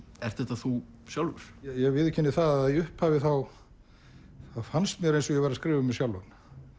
ert þetta þú sjálfur ég viðurkenni það að í upphafi þá fannst mér eins og ég væri að skrifa um mig sjálfan